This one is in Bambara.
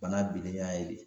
Bana bilenya ye de